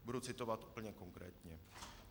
Budu citovat úplně konkrétně.